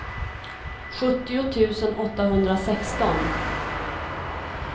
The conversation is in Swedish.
sjuttio tusen åttahundrasexton